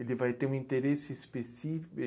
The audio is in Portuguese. Ele vai ter um interesse específico